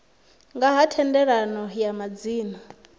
nga ha thendelano ya madzina